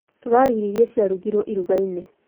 Tũrarĩa irio iria cirarugirwo irugainĩ